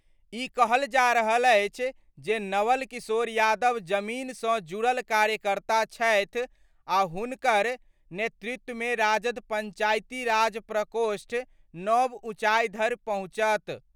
ई कहल जा रहल अछि जे नवल किशोर यादव जमीन सं जुड़ल कार्यकर्ता छथि आ हुनकर नेतृत्व मे राजद पंचायती राज प्रकोष्ठ नव उंचाइ धरि पहुंचत।